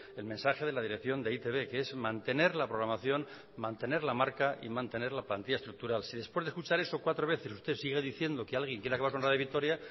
el mensaje de la dirección de e i te be que es mantener la programación mantener la marca y mantener la plantilla estructural si después de escuchar eso cuatro veces usted sigue diciendo que alguien quiere acabar con radio vitoria